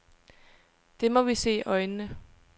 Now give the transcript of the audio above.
Det må vi se i øjnene.